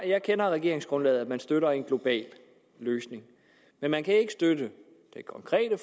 jeg kender regeringsgrundlaget hvori man støtter en global løsning men man kan ikke støtte det konkrete